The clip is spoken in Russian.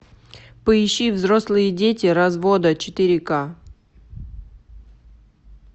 поищи взрослые дети развода четыре ка